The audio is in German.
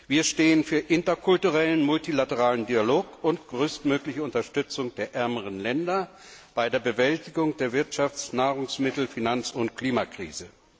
Wir stehen für interkulturellen, multilateralen Dialog und größtmögliche Unterstützung der ärmeren Länder bei der Bewältigung der Wirtschafts Nahrungsmittel Finanz und Klimakrise.